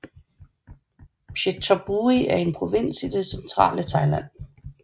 Phetchaburi er en provins i det centrale Thailand